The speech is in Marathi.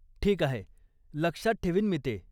ठीक आहे, लक्षात ठेवीन मी ते.